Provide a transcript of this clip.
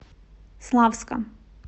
славска